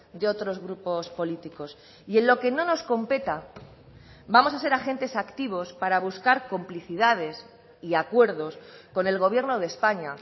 de otros grupos políticos y en lo que no nos competa vamos a ser agentes activos para buscar complicidades y acuerdos con el gobierno de españa